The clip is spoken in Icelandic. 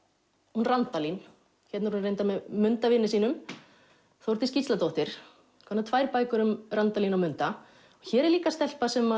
hún Randalín hérna er hún reyndar með munda vini sínum Þórdís Gísladóttir komnar tvær bækur um Randalín og munda hér er líka stelpa sem